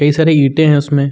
कई सारे ईटें हैं उसमें।